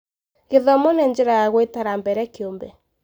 Gĩthomo nĩ njĩra ya gwĩtara mbere kĩũmbe.